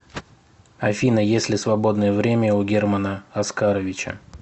афина есть ли свободное время у германа оскаровича